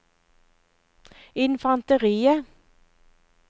infanteriet